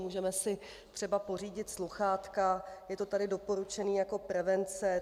Můžeme si třeba pořídit sluchátka, je to tu doporučeno jako prevence.